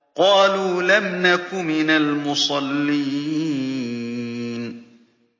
قَالُوا لَمْ نَكُ مِنَ الْمُصَلِّينَ